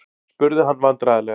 spurði hann vandræðalega.